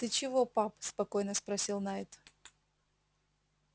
ты чего пап спокойно спросил найд